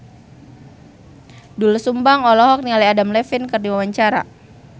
Doel Sumbang olohok ningali Adam Levine keur diwawancara